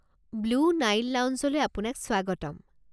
Blue Nile লাউঞ্জলৈ আপোনাক স্বাগতম।